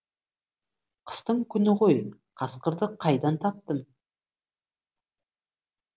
қыстың күні ғой қасқырды қайдан таптым